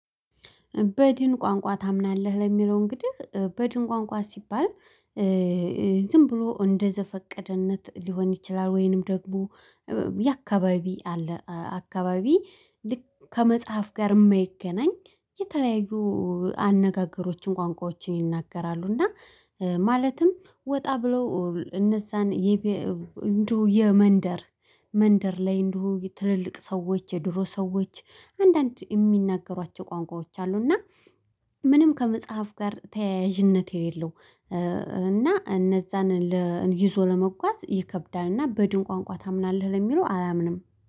በድን ቋንቋ ታምናለህ ለሚለው እንግዲህ በድን ቋንቋ ሲባል ዝም ብሎ እንደዘፈቀደነት ሊሆን ይችላል። ወይንም ደግሞ የአካባቢ አለ አካባቢ ልክ ከመጽሐፍ ጋር የማይገናኝ የተለያዩ አነጋገሮችን ቋንቋዎችን ይናገራሉ። እና ማለትም ወጣ ብለው እነዛን እንደው የመንደር መንደር ላይ እንደው ትልልቅ ሰዎች የድሮ ሰዎች አንዳንድ የሚናገሯቸው ቋንቋዎች አሉ። እና ምንም ከመጽሐፍ ጋር ተያያዥነት የሌለው። እና እነዛን ይዞ ለመጓዝ ይከብዳልና በድን ቋንቋ ታምናለህ ለሚለው አላምንም